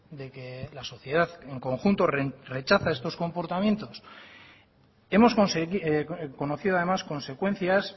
de que la sociedad en conjunto rechaza estos comportamientos hemos conocido además consecuencias